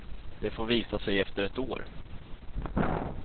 Det får visa sig efter ett år.